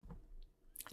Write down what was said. DR1